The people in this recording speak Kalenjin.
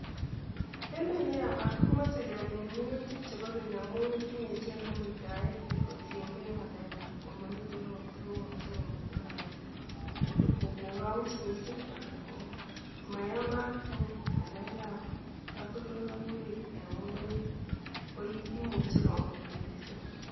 Emet neyamat komoche kemin minutikab keny amun tinyee muitaet kotiengee ngalekab komomiten ropta komuche komuita anan kogous cs mising cs anan komayamat okot ngalekab kotondoileiwek en ngungunyek koimuche komuitaa cs mising cs